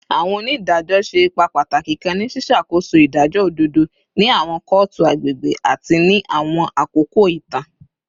Awọn onidajọ ṣe ipa pataki kan ni ṣiṣakoso idajọ ododo ni awọn kootu agbegbe ni awọn akoko itan